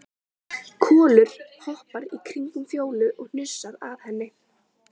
Kolur hoppar í kringum Fjólu og hnusar að henni.